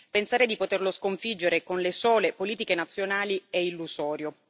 Pensare di poterlo sconfiggere con le sole politiche nazionali è illusorio.